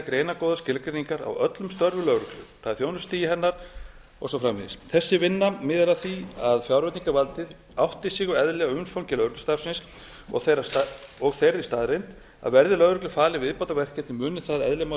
greinargóðar skilgreiningar á öllum störfum lögreglu það er þjónustustigi hennar og svo framvegis þessi vinna miðar að því að fjárveitingavaldið átti sig á eðli og umfangi lögreglustarfsins og þeirri staðreynd að verði lögreglu falin viðbótarverkefni muni það eðli máls